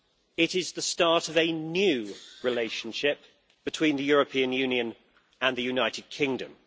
It is the start of a new relationship between the European Union and the United Kingdom.